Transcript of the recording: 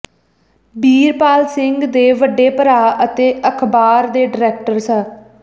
ਬੀਰਪਾਲ ਸਿੰਘ ਦੇ ਵੱਡੇ ਭਰਾ ਅਤੇ ਅਖਬਾਰ ਦੇ ਡਾਇਰੈਕਟਰ ਸ